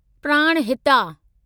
Pranahita